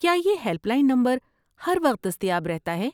کیا یہ helpline number ہر وقت دستیاب رہتا ہے؟